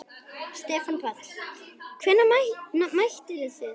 Stefán Páll: Hvenær mættuð þið?